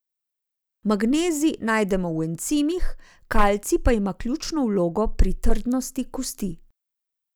Magnezij najdemo v encimih, kalcij pa ima ključno vlogo pri trdnosti kosti.